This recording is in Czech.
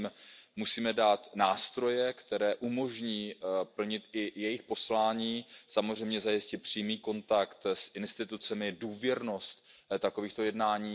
My jim musíme dát nástroje, které umožní plnit i jejich poslání, samozřejmě zajistit přímý kontakt s institucemi a důvěrnost takovýchto jednání.